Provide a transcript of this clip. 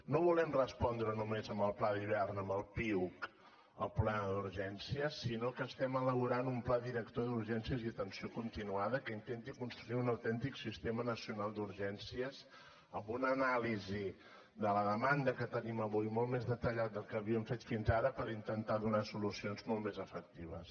no volem respondre només amb el pla d’hivern amb el piuc el problema d’urgències sinó que estem elaborant un pla director d’urgències i atenció continuada que intenti construir un autèntic sistema nacional d’urgències amb una anàlisi de la demanda que tenim avui molt més detallada del que havíem fet fins ara per intentar donar solucions molt més efectives